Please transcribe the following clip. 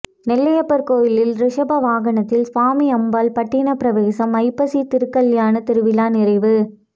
நெல்லையப்பர் கோயிலில் ரிஷப வாகனத்தில் சுவாமி அம்பாள் பட்டின பிரவேசம் ஐப்பசி திருக்கல்யாண திருவிழா நிறைவு